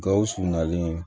Gawusu nalen